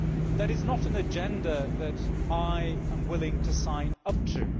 That is not an agenda that I am willing to sign up to.